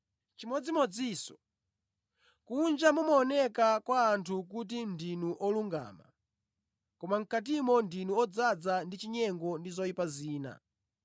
Chimodzimodzinso, kunja mumaoneka kwa anthu kuti ndinu olungama koma mʼkatimo ndinu odzaza ndi chinyengo ndi zoyipa zina.